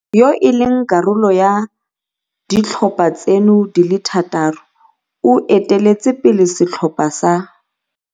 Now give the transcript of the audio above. yo e leng karolo ya ditlhopha tseno di le thataro o eteletse pele setlhopha sa